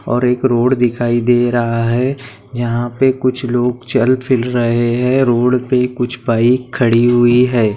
और एक रोड दिखाई दे रहा है यहाँ पे कुछ लोग चल फिर रहे हैं रोड पे कुछ बाइक खड़ी हुयी हैं।